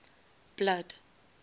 blood